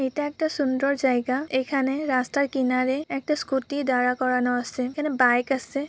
এটা একটা সুন্দর জায়গা। এখানে রাস্তায় কিনারে একটা স্কুটি দ্বারা করানো আসে। এখানে বাইক আসে ।